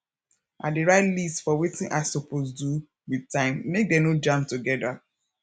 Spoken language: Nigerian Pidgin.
i dey write list for wetin i soppose do wit time mek dem no jam togeda